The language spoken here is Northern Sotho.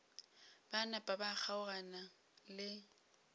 ba napa ba kgaogana le